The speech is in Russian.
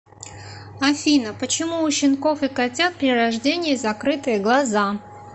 афина почему у щенков и котят при рождении закрытые глаза